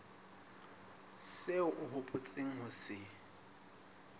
seo o hopotseng ho se